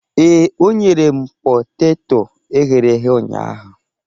Ee, o nyere m poteto e ghere eghe ụnyaahụ